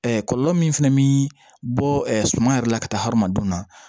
kɔlɔlɔ min fana bɛ bɔ suman yɛrɛ la ka taa hadamadenw na